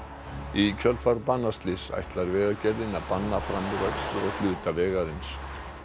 í kjölfar banaslyss ætlar Vegagerðin að banna framúrakstur á hluta vegarins